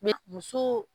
M muso